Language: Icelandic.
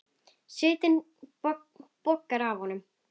Svitinn bogar af honum.